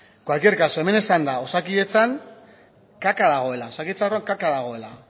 en cualquier caso hemen esan da osakidetzan kaka dagoela osakidetzan kaka dagoela